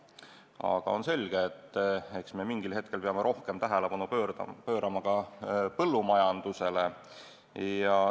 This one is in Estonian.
Aga on selge, et mingil hetkel me peame rohkem tähelepanu pöörama ka põllumajandusele.